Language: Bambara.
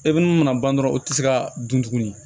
E bɛ mun mana ban dɔrɔn o tɛ se ka dun tugunni